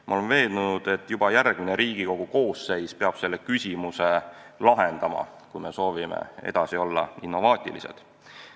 Ma olen veendunud, et juba järgmine Riigikogu koosseis peab selle küsimuse lahendama, kui me soovime edasi olla innovaatilised.